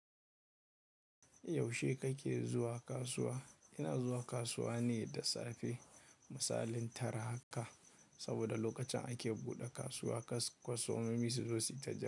Yaushe kake zuwa kasuwa? Ina zuwa kasuwa ne da safe. Misalin tara haka, saboda lokacin ake buɗe kasuwa, kasuwa kas kwastomomi su zo suyi ta jira.